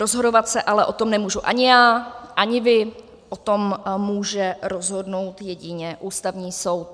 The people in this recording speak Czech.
Rozhodovat se o tom ale nemůžu ani já, ani vy, o tom může rozhodnout jedině Ústavní soud.